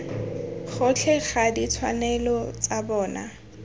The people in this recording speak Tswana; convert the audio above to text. gotlhe ga ditshwanelo tsa bona